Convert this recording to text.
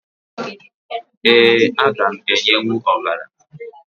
Ee, aga m enyenwu ọbara